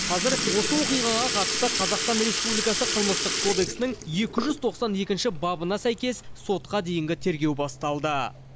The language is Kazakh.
қазір осы оқиғаға қатысты қазақстан республикасы қылмыстық кодексінің екі жүз тоқсан екінші бабына сәйкес сотқа дейінгі тергеу басталды